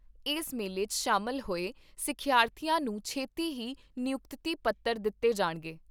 ਏਸ ਮੇਲੇ 'ਚ ਸ਼ਾਮਲ ਹੋਏ ਸਿੱਖਿਆਰਥੀਆਂ ਨੂੰ ਛੇਤੀ ਹੀ ਨਿਯੁਕਤੀ ਪੱਤਰ ਦਿੱਤੇ ਜਾਣਗੇ।